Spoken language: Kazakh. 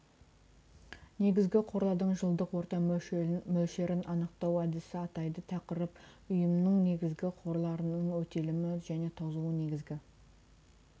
негізгі қорлардың жылдық орта мөлшерін анықтау әдісі атайды тақырып ұйымның негізгі қорларының өтелімі және тозуы негізгі